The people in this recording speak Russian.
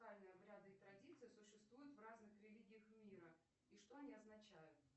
обряды и традиции существуют в разных религиях мира и что они означают